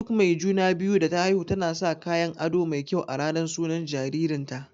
Duk mai juna-biyu da ta haihu tana sa kayan aɗo mai kyau a ranar sunan jaririn ta.